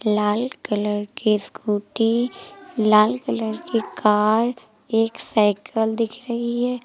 लाल colour के scooty लाल colour की कार एक साइकल दिख रही है।